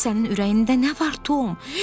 Sənin ürəyində nə var Tom?